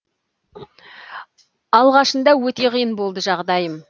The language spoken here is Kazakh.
алғашында өте қиын болды жағдайым